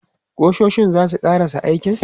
Ƙusoshin za su ƙarasa aikin?